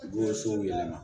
Woso yɛlɛma